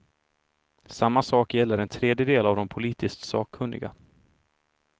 Samma sak gäller en tredjedel av de politiskt sakkunniga.